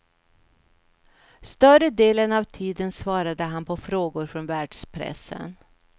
Större delen av tiden svarade han på frågor från världspressen.